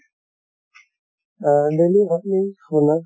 আহ daily